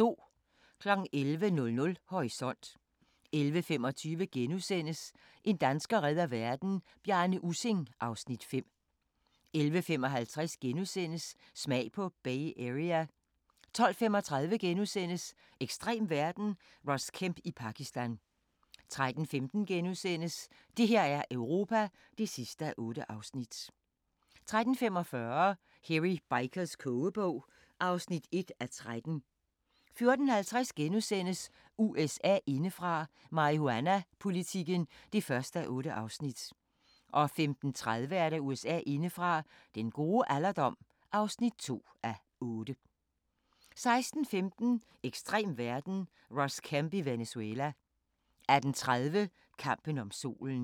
11:00: Horisont 11:25: En dansker redder verden - Bjarne Ussing (Afs. 5)* 11:55: Smag på Bay Area * 12:35: Ekstrem verden – Ross Kemp i Pakistan * 13:15: Det her er Europa (8:8)* 13:45: Hairy Bikers kogebog (1:13) 14:50: USA indefra: Marihuanapolitikken (1:8)* 15:30: USA indefra: Den gode alderdom (2:8) 16:15: Ekstrem verden – Ross Kemp i Venezuela 18:30: Kampen om Solen